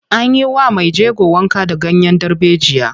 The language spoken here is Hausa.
An yi wa mai jego wanka da ganyen darbejiya.